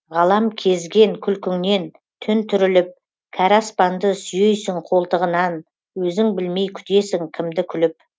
ғалам кезген күлкіңнен түн түріліп кәрі аспанды сүйейсің қолтығынан өзің білмей күтесің кімді күліп